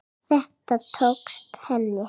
Þetta tókst henni.